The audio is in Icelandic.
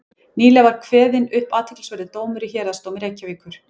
nýlega var kveðinn upp athyglisverður dómur í héraðsdómi reykjavíkur